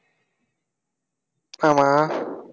ஆமா